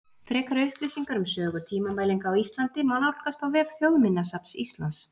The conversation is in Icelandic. Frekari upplýsingar um sögu tímamælinga á Íslandi má nálgast á vef Þjóðminjasafns Íslands.